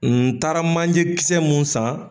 N taara manje kisɛ mun san